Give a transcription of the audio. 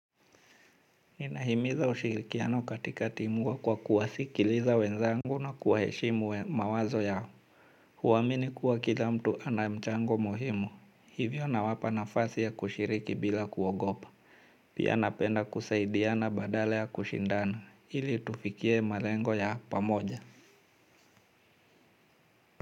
Ninahimiza ushirikiano katika timu kwa kuwasikiliza wenzangu na kuwaheshimu mawazo yao. Huamini kuwa kila mtu ana mchango muhimu. Hivyo nawapa nafasi ya kushiriki bila kuogopa. Pia napenda kusaidiana badala ya kushindana. Ili tufikie malengo ya pamoja.